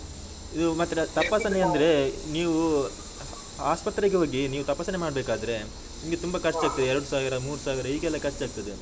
ಇದು ಮತ್ತೆ ಅಂದ್ರೆ ನೀವು ಆಸ್ಪತ್ರೆಗೆ ಹೋಗಿ ನೀವು ತಪಾಸಣೆ ಮಾಡ್ಬೇಕಾದ್ರೆ, ನಿಮ್ಗೆ ತುಂಬಾ ಎರಡು ಸಾವಿರ-ಮೂರು ಸಾವಿರ ಹೀಗೆಲ್ಲಾ ಖರ್ಚಾಗ್ತದೆ.